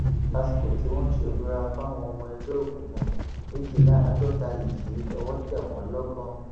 lásìkò tí wọn ń ṣèbúra fáwọn ọmọ ẹgbẹ òkùnkùn méjìléláàádọta yìí lọwọ tẹ wọn lọgọ